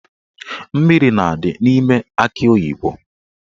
Mmiri na-adị n'ime akị oyibo.